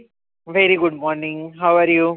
very good morning, how are you?